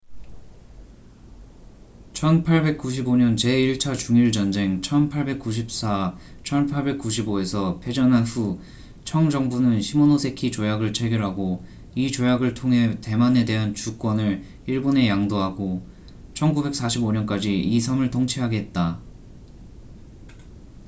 1895년 제1차 중일 전쟁1894~1895에서 패전한 후 청 정부는 시모노세키 조약을 체결하고 이 조약을 통해 대만에 대한 주권을 일본에 양도하고 1945년까지 이 섬을 통치하게 했다